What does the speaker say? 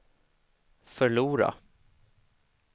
förlora